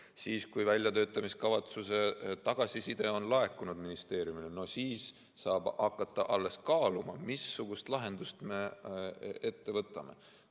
Alles siis, kui väljatöötamiskavatsuse tagasiside on ministeeriumile laekunud, saab hakata kaaluma, missuguse lahendusega me tegelema hakkame.